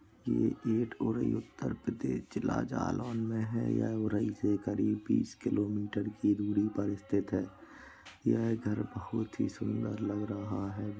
उत्तर प्रदेश जिला जालौन में है यह उरई से करीब बीस किलोमीटर की दूरी पर स्थित है ये घर बहुत ही सुंदर लग रहा है।